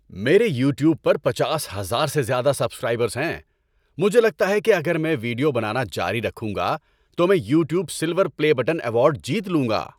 میرے یوٹیوب پر پچاس ہزار سے زیادہ سبسکرائبرز ہیں۔ مجھے لگتا ہے کہ اگر میں ویڈیو بنانا جاری رکھوں گا تو میں "YouTube silver play button" award جیت لوں گا۔